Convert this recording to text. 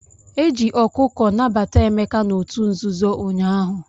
Eji ọkụkọ nabata Emeka n'otu nzuzo ụnyaahụ.